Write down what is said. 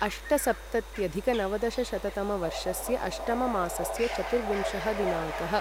अष्टसप्तत्यधिकनवदशशततमवर्षस्य अष्टममासस्य चतुर्विंशः दिनाङ्कः